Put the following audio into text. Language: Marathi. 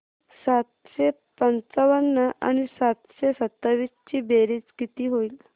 सातशे पंचावन्न आणि सातशे सत्तावीस ची बेरीज किती होईल